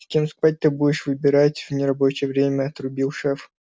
с кем спать ты будешь выбирать в нерабочее время отрубил шеф